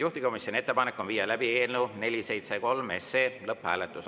Juhtivkomisjoni ettepanek on viia läbi eelnõu 473 lõpphääletus.